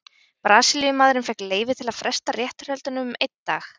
Brasilíumaðurinn fékk leyfi til að fresta réttarhöldunum um einn dag.